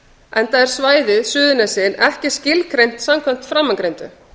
enda er svæðið suðurnesin ekki skilgreint samkvæmt framangreindu